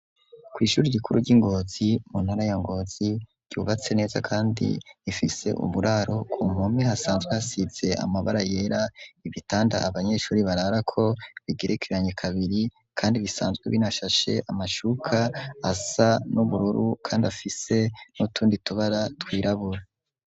Kw'ishure rikuru ry'Ingozi mu ntara ya Ngozi ryubatse neza kandi rifise uburaro, ku ruhome hasanzwe hasize amabara yera, ibitanda abanyeshuri bararako bigerekeranye kabiri kandi bisanzwe binashashe amashuka asa n'ubururu kandi afise n'utundi tubara twirabura.